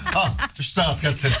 ал үш сағат концерт